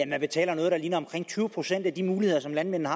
man betaler noget der ligner tyve procent for de muligheder landmændene